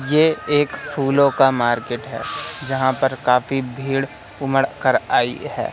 ये एक फूलों का मार्केट है जहां पर काफी भीड़ उमड़ कर आई है।